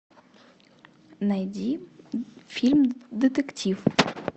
найди фильм детектив